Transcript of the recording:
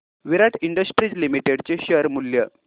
विराट Industries Limited चे share मूल्य